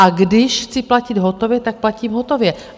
A když chci platit hotově, tak platím hotově.